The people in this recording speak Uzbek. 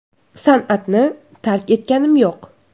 San’atni tark etganim yo‘q.